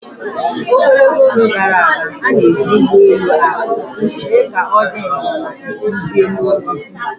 Ogologo oge gara aga, a na-eji ụgbọ elu aka mee ka ọ dị nro na ịkpụzi elu osisi